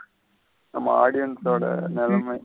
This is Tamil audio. நம்ம audience ஓட நிலமை.